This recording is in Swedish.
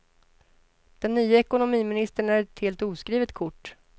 Den nye ekonomiministern är ett helt oskrivet kort.